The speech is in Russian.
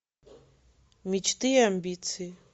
мечты и амбиции